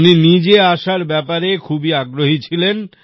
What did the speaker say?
উনি নিজে আসার ব্যাপারে খুবই আগ্রহী ছিলেন